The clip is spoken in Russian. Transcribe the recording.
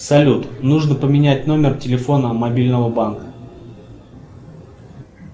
салют нужно поменять номер телефона мобильного банка